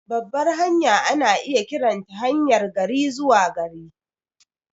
Babbar hanya ana iya kiranta haryar gari-zuwa-gari.